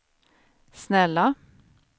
snälla